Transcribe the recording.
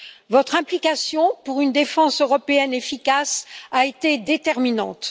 Votre implication pour une défense européenne efficace a été déterminante.